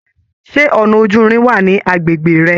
Ṣe ọnà ojúrin wà ní agbègbè rẹ?